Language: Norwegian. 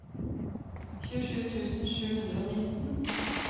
tjuesju tusen sju hundre og nitten